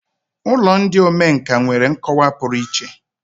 Ụlọ ndị omenkà nwere nkọwa pụrụ iche.